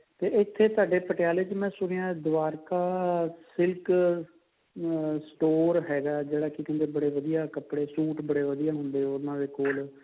ਤੇ ਇੱਥੇ ਤੁਹਾਡੇ ਪਟਿਆਲੇ ਚ ਮੈਂ ਸੁਣਿਆ ਦਵਾਰਕਾ silk ਅਹ store ਹੈਗਾ ਜਿਹੜਾ ਕਿ ਕਹਿੰਦੇ ਬੜੇ ਵਧੀਆ ਕੱਪੜੇ suit ਬੜੇ ਵਧੀਆ ਮਿਲਦੇ ਨੇ ਉਹਨਾ ਦੇ ਕੋਲ